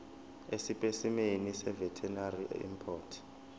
esipesimeni seveterinary import